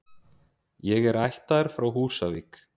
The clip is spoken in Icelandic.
Ég er ættaður frá Húsavík.